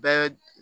Bɛɛ